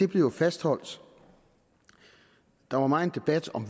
blev jo fastholdt der var megen debat om